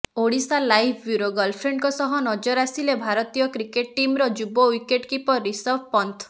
Odisha live bureau ଗର୍ଲଫ୍ରେଣ୍ଡଙ୍କ ସହ ନଜର ଆସିଲେ ଭାରତୀୟ କ୍ରିକେଟ୍ ଟିମର ଯୁବ ୱିକେଟ କିପର ରିଷଭ ପନ୍ଥ